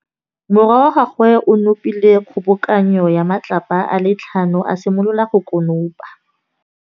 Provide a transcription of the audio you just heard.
Morwa wa gagwe o nopile kgobokanô ya matlapa a le tlhano, a simolola go konopa.